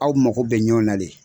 Aw mago bɛ ɲɔn na le.